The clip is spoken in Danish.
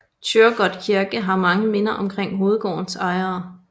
Thyregod Kirke har mange minder omkring hovedgårdens ejere